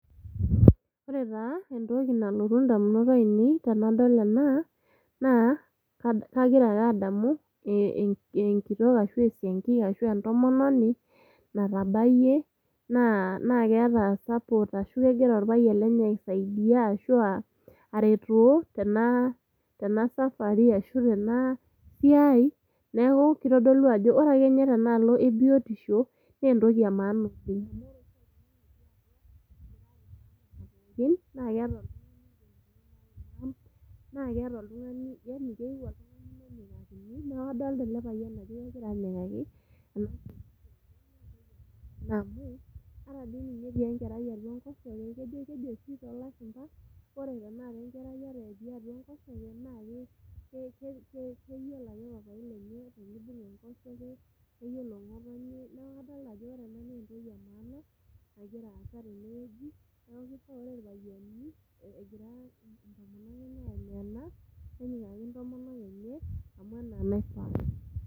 Ore taa entoki nalotu indamunot ainei naa kagira ake adamu enkitok ashu esiankiki ashua entomononi natabayie naa keeta support ashu kegira orpayian lenye aisaidia ashuaa ateroo tena tena safari tena siai. Niaku kitodolu ajo ore ake ninye tenaalo ebiotisho naa entoki e maana oleng